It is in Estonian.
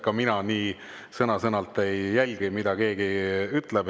Ka mina sõna-sõnalt ei jälgi, mida keegi ütleb.